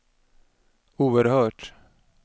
oerhört